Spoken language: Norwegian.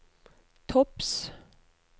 topps